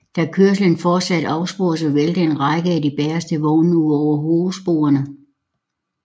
Da kørslen fortsatte afsporedes og væltede en række af de bageste vogne ud over hovedsporene